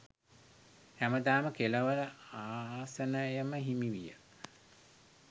හැමදාම කෙළවර ආසනයම හිමි විය.